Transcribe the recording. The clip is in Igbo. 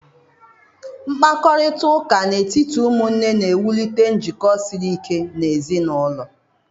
Mkparịta ụka n'etiti ụmụnne na-ewulite njikọ siri ike n'ezi n'ulo.